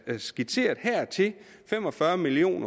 er skitseret her til fem og fyrre million